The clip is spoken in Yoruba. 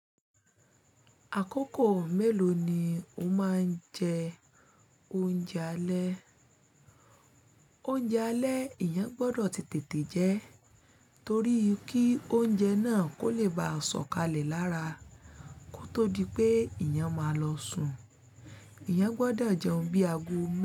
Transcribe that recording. Àkókò mélòó ni o máa ń jẹ oúnjẹ alẹ́? Oúnjẹ alẹ́ eeyan gbọ́dọ̀ ti tètè jẹ, torí kí oúnjẹ náà kó lè ba à sọ̀kalẹ̀ lára kó tó di pé eeyan máa lọ sùn. Èèyàn gbọ́dọ̀ jẹun bí ago mẹ́ta.